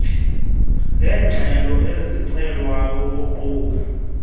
zengxelo ecelwayo uquka